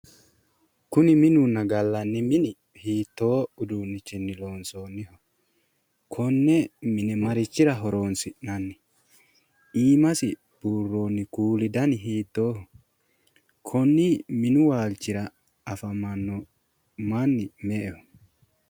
Kuni minunna gallanni mini hiittoo uduunnichinni loonsoonniho? Konne mine marichira horoonsi'nanni? Iimasi buurroonni kuuli dani hiittooho? Konni minu waalchira afamanno manni me"eho?